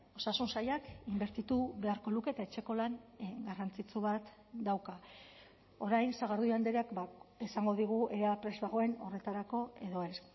osasun sailak inbertitu beharko luke eta etxeko lan garrantzitsu bat dauka orain sagardui andreak esango digu ea prest dagoen horretarako edo ez